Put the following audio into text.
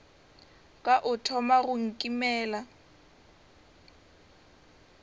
ka o thoma go nkimela